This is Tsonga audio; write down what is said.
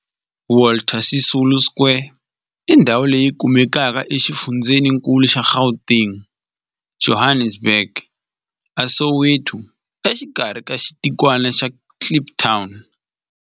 Walter Sisulu Square i ndhawu leyi kumekaka exifundzheninkulu xa Gauteng, Johannesburg, a Soweto, exikarhi ka xitikwana xa Kliptown.